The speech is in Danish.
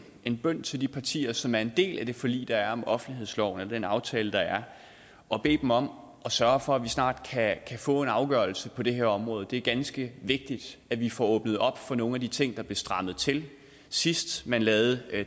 en bøn til de partier som er en del af det forlig der er om offentlighedsloven og den aftale der er og bede dem om at sørge for at vi snart kan få en afgørelse på det her område det er ganske vigtigt at vi får åbnet op for nogle af de ting der blev strammet til sidst man lavede